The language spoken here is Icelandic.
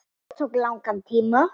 Þetta tók langan tíma.